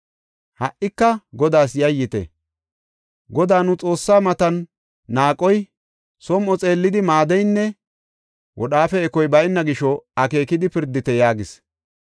Ha77ika Godaas yayyite; Godaa nu Xoossaa matan naaqoy, som7o xeellidi maaddeynne wodhaafe ekoy bayna gisho akeekidi pirdite” yaagis.